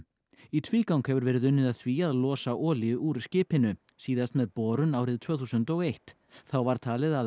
í tvígang hefur verið unnið að því að losa olíu úr skipinu síðast með borun árið tvö þúsund og eitt þá var talið að